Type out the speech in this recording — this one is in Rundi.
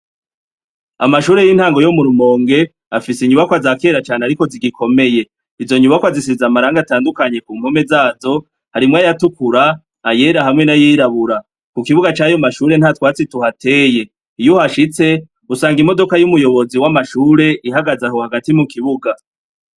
Amashure y'intango yo murumonge afise inyubako aza kera cane ari ko zigikomeye izo nyubako azisiza amaranga atandukanye ku mpome zazo harimwo ayatukura ayera hamwe n'ayirabura ku kibuga cayo mashure nta twatsi tuhateye iyouho ashitse usanga imodoka y'umuyobozi w'amashure ihagaze aho hagati mu kibuga.